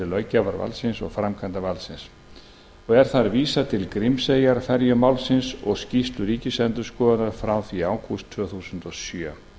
löggjafarvaldsins og framkvæmdarvaldsins og er þar vísað til grímseyjarferjumálsins og skýrslu ríkisendurskoðunar frá því í ágúst tvö þúsund og sjö